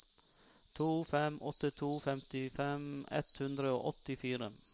to fem åtte to femtifem ett hundre og åttifire